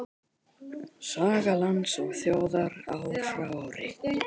Saga lands og þjóðar ár frá ári.